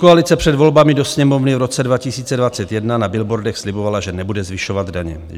Pětikoalice před volbami do Sněmovny v roce 2021 na billboardech slibovala, že nebude zvyšovat daně.